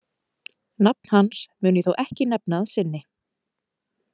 Nafn hans mun ég þó ekki nefna að sinni.